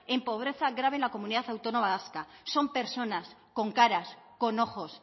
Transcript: en pobreza grave en la comunidad autónoma vasca son personas con caras con ojos